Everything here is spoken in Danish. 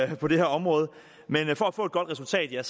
på det her område men for at få et godt resultat er